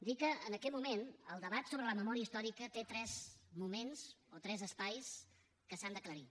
dir que en aquest moment el debat sobre la memòria històrica té tres moments o tres espais que s’han d’aclarir